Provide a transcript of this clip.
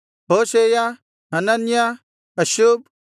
Hoshaiah Hananiah Hasshub